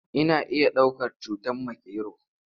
Ana iya ɗaukar cutar makero.